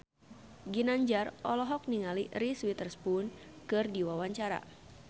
Ginanjar olohok ningali Reese Witherspoon keur diwawancara